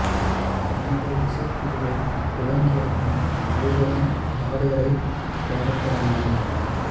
இந்த இசைக்குழுவைத் துவங்கிய பின் இருவரும் ஒரு பாடகரைத் தேடத் தொடங்கினர்